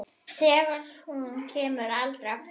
Þegar hún kemur aldrei aftur.